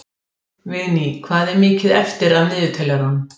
Vigný, hvað er mikið eftir af niðurteljaranum?